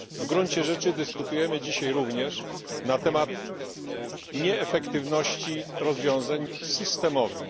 W gruncie rzeczy dyskutujemy dzisiaj również o nieefektywności rozwiązań systemowych.